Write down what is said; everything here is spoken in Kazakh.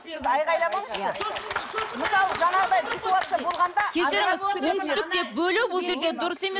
айғайламаңызшы мысалы жаңағыдай ситуация болғанда кешіріңіз оңтүстік деп бөлу бұл жерде дұрыс емес